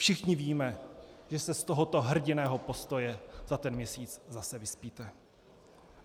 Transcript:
Všichni víme, že se z tohoto hrdinného postoje za ten měsíc zase vyspíte.